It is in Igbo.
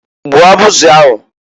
Gbuo abuzi abụzị abụzị ahụ!